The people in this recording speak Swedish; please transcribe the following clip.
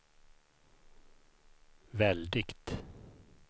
väldigt